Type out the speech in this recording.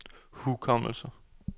hukommelse